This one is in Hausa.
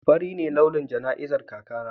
Fari ne launin jana'izar kakana.